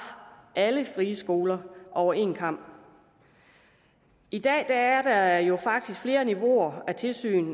alle friskoler over en kam i dag er der jo faktisk flere niveauer af tilsyn